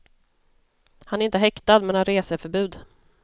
Han är inte häktad, men har reseförbud.